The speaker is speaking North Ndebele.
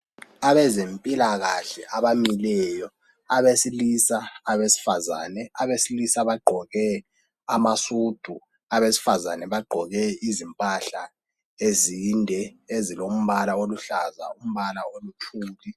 Abezempilakahle abamileyo abesilisa, abesifazana, abesilisa bagqoke amasudu, abesifazane bagqoke izimpahla ezinde ezilombala oluhlaza lombala oluthuli.